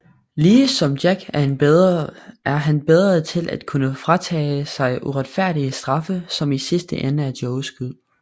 Lige som Jack er han bedre til at kunne fratage sig uretfærdige straffe som i sidste ende er Joes skyld